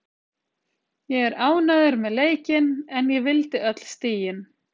Ég er ánægður með leikinn en ég vildi öll stigin.